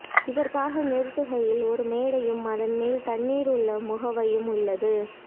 இதற்காக நிறுத்துகையில் ஒரு மேடையும் அதன்மேல் தண்ணீர் உள்ள முகவையும் உள்ளது